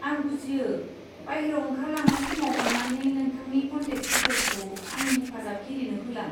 आं बुजियो। बायह्रायाव ओंखारलांनाय समाव अन्नानै नोंथांनि कन्टेक्ट दिटेल्सखौ आंनि हेफाजाबगिरिनो होलां।